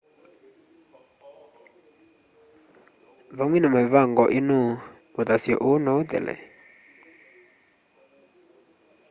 vamwe na mĩvango ĩno ũthasyo ũũ no ũthele